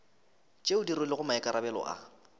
tšeo di rwelego maikarabelo a